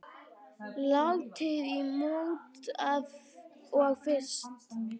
Látið í mót og fryst.